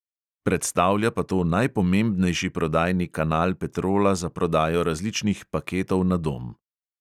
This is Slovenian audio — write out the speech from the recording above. Predstavlja pa to najpomembnejši prodajni kanal petrola za prodajo različnih paketov na dom.